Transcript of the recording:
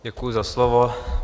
Děkuji za slovo.